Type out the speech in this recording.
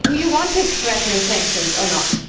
Do you want to threaten sanctions or not?